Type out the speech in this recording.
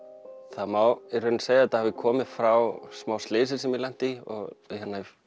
það má í rauninni segja að þetta hafi komið frá smá slysi sem ég lenti í